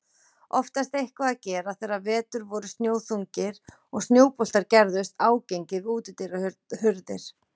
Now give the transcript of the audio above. Oftast eitthvað að gera þegar vetur voru snjóþungir og snjóboltar gerðust ágengir við útidyrahurðir.